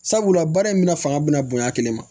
Sabula baara in bɛna fanga bɛna bonya kelen ma